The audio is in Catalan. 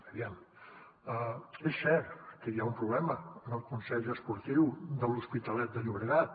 aviam és cert que hi ha un problema en el consell esportiu de l’hospitalet de llobregat